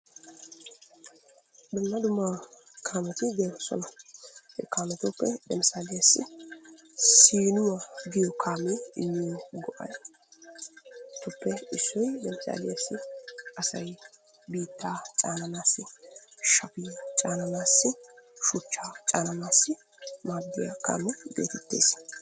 Dumma dumma kaameti de'oosona. He kaametuppe lemisaliyassi siinuwa giyo kaamiyayyoo go'atuppe issoy lemisaliyassi asay biittaa caananaassi, shafiya caananaassi, shuchchaa caananaassi maaddiya kaamiya geetettes.